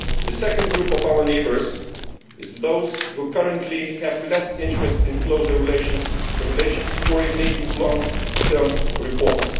The second group of our neighbours is those which currently have less interest in closer relations or in making long term reforms.